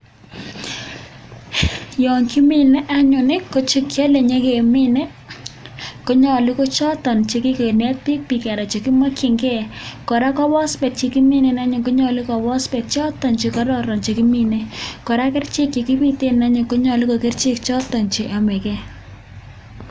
Yekimine anyun kochekiyale kenyor kemine konyalu ko choton chekikenet bik anan chekimakin gei anan alak ko phosphate anyun koyache kochoton chekororon chekimine koraa ko kerchek chekibiten anyun konyalu ko kerchek choton cheyamegei